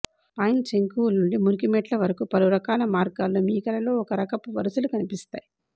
pine శంకువులు నుండి మురికి మెట్ల వరకు పలురకాల మార్గాల్లో మీ కలలో ఒక రకపు వరుసలు కనిపిస్తాయి